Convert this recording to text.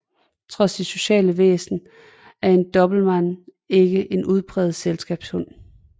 Trods sit sociale væsen er en dobermann ikke en udpræget selskabshund